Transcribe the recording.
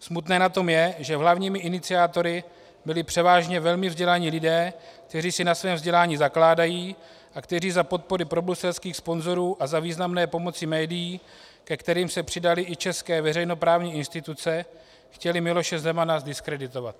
Smutné na tom je, že hlavními iniciátory byli převážně velmi vzdělaní lidé, kteří si na svém vzdělání zakládají a kteří za podpory probruselských sponzorů a za významné pomoci médií, ke kterým se přidaly i české veřejnoprávní instituce, chtěli Miloše Zemana zdiskreditovat.